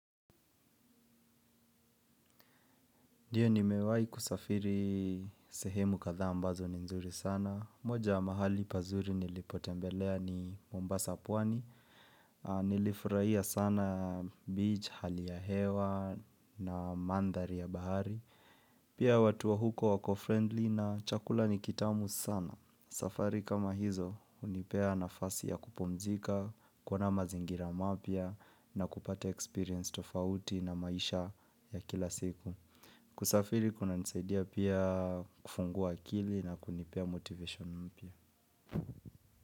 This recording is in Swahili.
Ndiyo nimewai kusafiri sehemu katha ambazo ni nzuri sana. Moja wa mahali pazuri nilipotembelea ni Mombasa pwani. Nilifurahia sana beach, hali ya hewa na mandhari ya bahari. Pia watu wa huko wako-friendly na chakula ni kitamu sana. Safari kama hizo, unipea nafasi ya kupumzika, kuona mazingira mapya na kupata experience tofauti na maisha ya kila siku. Kusafiri kunanisaidia pia kufungua akili na kunipea motivation mpya.